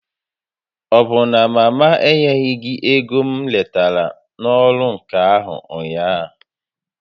Ọbụ na mama enyeghị gị ego m retara n'ọrụ ǹkà ahụ ụnyaahụ?